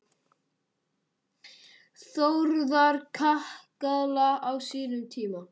Þórðar kakala á sínum tíma.